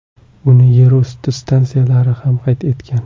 Uni yerusti stansiyalari ham qayd etgan.